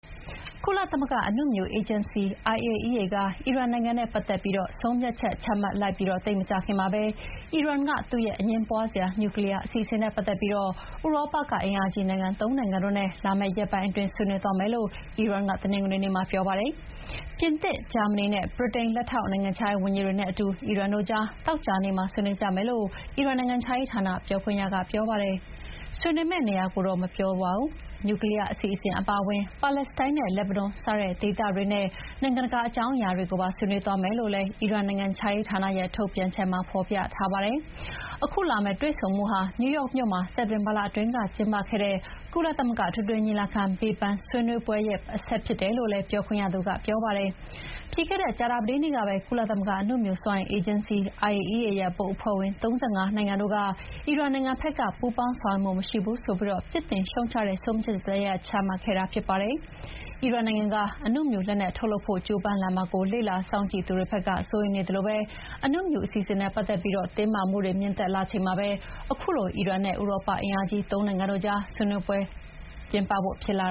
ကုလသမဂ္ဂအနုမြူ အေဂျင်စီ (IAEA) က အီရန်နိုင်ငံနဲ့ ပတ်သက်ပြီး ဆုံးဖြတ်ချက် ချမှတ်လိုက်ပြီးသိပ်မကြာခင်မှာပဲ အီရန်က သူ့ရဲ့ အငြင်းပွားစရာ နျူးကလီးယားအစီအစဉ်နဲ့ ပတ်သက်ပြီး ဥရောပက အင်အားကြီးနိုင်ငံ ၃ နိုင်ငံနဲ့ လာမယ့်ရက်ပိုင်းအတွင်း ဆွေးနွေးမယ်လို့ အီရန်က တနင်္ဂနွေနေ့မှာပြောပါတယ်။ ပြင်သစ်၊ ဂျာမဏီနဲ့ ဗြိတိန် လက်ထောက်နိုင်ငံခြားရေးဝန်ကြီးတွေနဲ့ အီရန်တို့ကြား သောကြာနေ့မှာ ဆွေးနွေးကြမယ်လို့ အီရန်နိုင်ငံခြားရေးဌာန ပြောခွင့်ရက ဆိုပါတယ်၊ ဆွေးနွေးမယ့်နေရာကိုတော့ မပြောပါဘူး။ နျူကလီးယားအစီအစဥ်အပါအဝင် ပါလက်စတိုင်းနဲ့ လက်ဘနွန် စတဲ့ ဒေသတွင်းနဲ့ နိုင်ငံတကာအကြောင်းအရာတွေကိုပါ ဆွေးနွေးသွားမယ်လို့လည်း အီရန်နိုင်ငံခြားရေးဌာနရဲ့ ထုတ်ပြန်ချက်မှာ ဖော်ပြထားပါတယ်။ ခုလာမဲ့တွေ့ဆုံမှုဟာ နယူးယောက်မြို့မှာ စက်တင်ဘာလကကျင်းပခဲ့တဲ့ ကုလသမဂ္ဂ အထွေထွေညီလာခံဘေးပန်းဆွေးနွေးပွဲရဲ့ အဆက်ဖြစ်တယ်လို့လည်း ပြောခွင့်ရသူကပြောပါတယ်။ ပြီးခဲ့တဲ့ ကြာသပတေးနေ့ကပဲ ကုလသမဂ္ဂအနုမြူစွမ်းအင်အေဂျင်စီ IAEA ရဲ့ ဘုတ်အဖွဲ့ဝင် ၃၅ နိုင်ငံတို့က အီရန်နိုင်ငံဖက်က ပူးပေါင်းဆောင်ရွက်မှုမရှိဘူးဆိုပြီး ပြစ်တင်ရှုတ်ချတဲ့ဆုံးဖြတ်ချက်တရပ်ချမှတ်ခဲ့တာဖြစ်ပါတယ်။ အီရန်နိုင်ငံက အနုမြူလက်နက်ထုတ်လုပ်ဖို့ ကြိုးပမ်းလာမှာကို လေ့လာစောင့်ကြည့်သူတွေဖက်က စိုးရိမ်နေသလို အနုမြူအစီအစဉ်နဲ့ ပတ်သက်ပြီး တင်းမာမှုတွေ မြင့်တက်လာချိန်မှာပဲ ခုလို အီရန်နဲ့ ဥရောပအင်အားကြီး ၃ နိုင်ငံတို့ကြားဆွေးနွေးဖို့ ဖြစ်လာ